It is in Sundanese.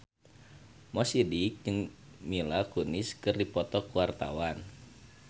Mo Sidik jeung Mila Kunis keur dipoto ku wartawan